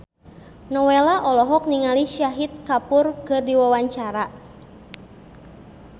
Nowela olohok ningali Shahid Kapoor keur diwawancara